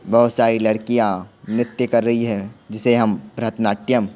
बहुत सारी लड़कियां नृत्य कर रही है जिसे हम भ्रतनाट्यम--